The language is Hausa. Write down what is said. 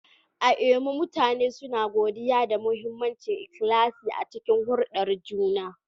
A Imo, mutane suna godiya da mahimmancin ikhlasi a cikin hulɗar juna.